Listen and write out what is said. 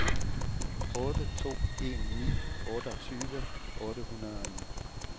otte to en ni otteogtyve otte hundrede og ni